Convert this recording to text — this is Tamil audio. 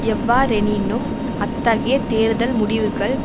எவ்வாறெனினும் அத்தகைய தேர்தல் முடிவுகள்